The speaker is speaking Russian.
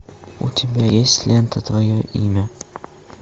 у тебя есть лента твое имя